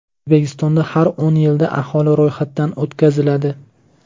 O‘zbekistonda har o‘n yilda aholi ro‘yxatdan o‘tkaziladi.